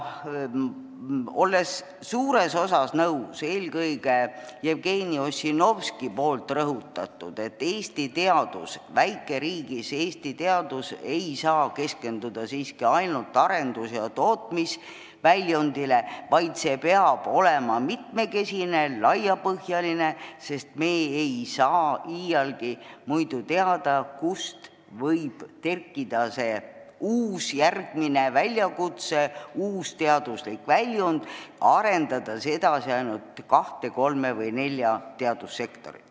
Olles suures osas nõus eelkõige Jevgeni Ossinovski rõhutatuga, et väikeriigi Eesti teadus ei saa keskenduda siiski ainult arendus- ja tootmisväljundile, vaid see peab olema mitmekesine, laiapõhjaline, sest me ei tea iialgi, kust võib kerkida see uus väljakutse, uus teaduslik väljund, kui me arendame edasi ainult kahte, kolme või nelja teadussektorit.